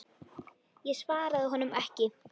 Ég svaraði honum ekki.